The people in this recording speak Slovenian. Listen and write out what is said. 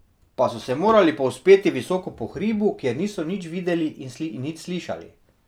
Pa so se morali povzpeti visoko po hribu, kjer niso nič videli in nič slišali.